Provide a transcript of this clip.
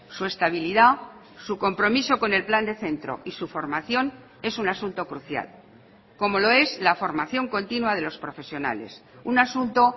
su estabilidad su compromiso con el plan de centro y su formación es un asunto crucial como lo es la formación continua de los profesionales un asunto